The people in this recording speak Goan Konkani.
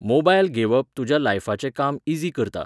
मोबायल घेवप तुज्या लायफाचें काम इझी करता